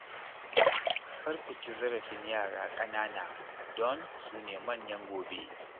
Kar ku ci zarafin yara ƙanana don su ne manyan gobe